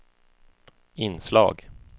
inslag